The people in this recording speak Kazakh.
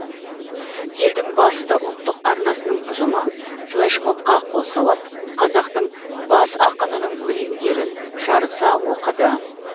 елдің басты ұлттық арнасының ұжымы флэшмобқа қосылып қазақтың бас ақынының өлеңдерін жарыса оқыды